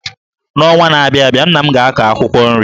N’ọnwa na-abịa abịa, nna m ga-akụ akwụkwọ nri.